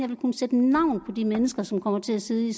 ville kunne sætte navn på de mennesker som kommer til at sidde i